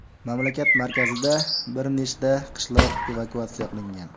Mamlakat markazida bir nechta qishloq evakuatsiya qilingan.